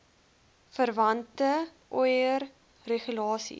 verwante oir regulasies